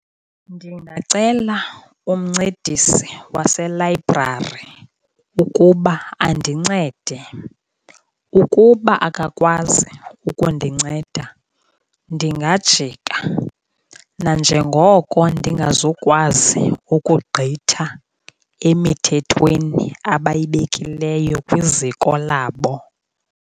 Ndingacela umncedisi waselayibrari ukuba andincede. Ukuba akakwazi ukundinceda ndingajika, nanjengoko ndingazukwazi ukugqitha emithethweni abayibekileyo kwiziko labo.